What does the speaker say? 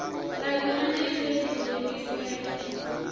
la united states u rengisela